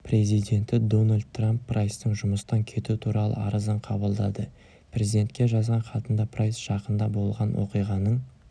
президенті дональд трамп прайстың жұмыстан кету туралы арызын қабылдады президентке жазған хатында прайс жақында болған оқиғаның